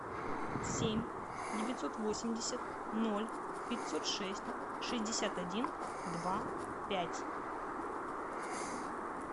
семь девятьсот восемьдесят ноль пятьсот шесть шестьдесят один два пять